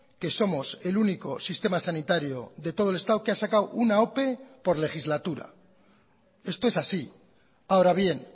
que somos el único sistema sanitario de todo el estado que ha sacado una ope por legislatura esto es así ahora bien